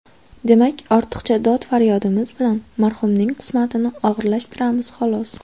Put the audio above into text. Demak, ortiqcha dod-faryodimiz bilan marhumning qismatini og‘irlashtiramiz, xolos.